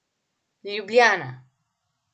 Ljubljana.